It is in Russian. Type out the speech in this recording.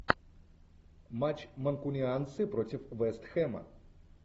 матч манкунианцы против вест хэма